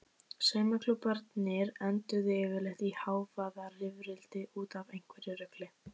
Saumaklúbbarnir enduðu yfirleitt í hávaðarifrildi út af einhverju rugli.